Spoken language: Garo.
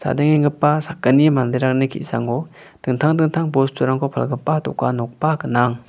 sakgni manderangni ki·sango dingtang dingtang bosturangko palgipa dokan nokba gnang.